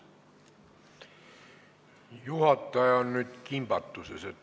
Juhataja on nüüd kimbatuses.